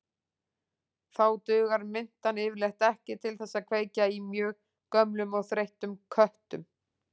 Þá dugar mintan yfirleitt ekki til þess að kveikja í mjög gömlum og þreyttum köttum.